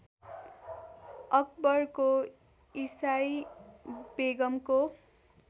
अकबरको ईसाई बेगमको